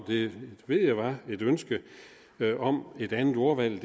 det ved jeg var et ønske om et andet ordvalg